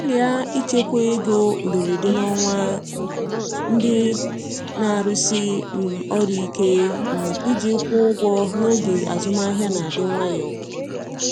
Gbalịa ichekwa ego mberede n’ọnwa um ndị na-arụsi um ọrụ ike um iji kwụọ ụgwọ n’oge azụmahịa na-adị nwayọ.